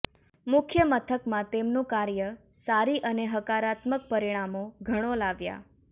મુખ્યમથકમાં તેમનું કાર્ય સારી અને હકારાત્મક પરિણામો ઘણો લાવ્યા